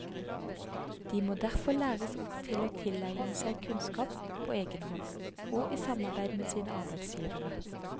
De må derfor læres opp til å tilegne seg kunnskap på egen hånd og i samarbeid med sine arbeidsgivere.